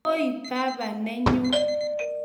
Koi baba nenyu